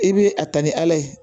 I bɛ a ta ni ala ye